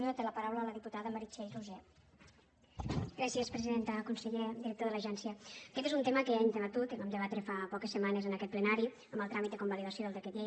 conseller director de l’agència aquest és un tema que ja hem debatut el vam debatre fa poques setmanes en aquest plenari en el tràmit de convalidació del decret llei